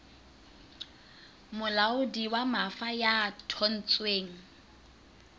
molaodi wa mafa ya thontsweng